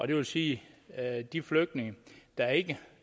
det vil sige at de flygtninge der ikke